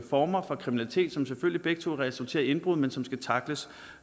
former for kriminalitet som selvfølgelig begge resulterer i indbrud men som skal tackles